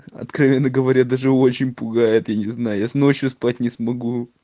откровенно говоря даже очень пугает и не знаю я ночью спать не смогу